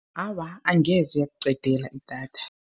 Awa, angeze yakuqedela idatha.